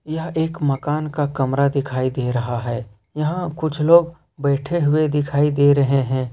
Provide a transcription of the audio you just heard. यह एक मकान का कमरा दिखाई दे रहा है यहां कुछ लोग बैठे हुए दिखाई दे रहे हैं।